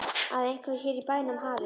Að einhver hér í bænum hafi.